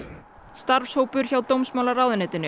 starfshópur hjá dómsmálaráðuneytinu